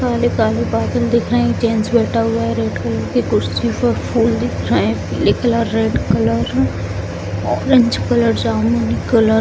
काले-काले बादल दिख रहें हैं जेंट्स बैठा हुआ है रेड कलर की कुर्सी पर फूल दिख रहें हैं पीले कलर रेड कलर हैं ऑरेंज कलर जामुनी कलर ।